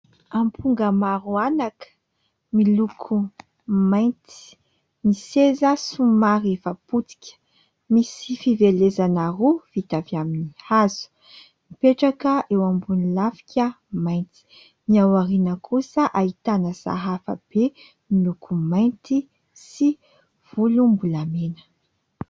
Amponga maro anaka miloko mainty, ny seza somary efa potika, misy fivelesana roa vita avy amin'ny hazo mipetraka eo ambony lafika mainty, ny aoriana kosa ahitana sahafa be miloko mainty sy volombolamena.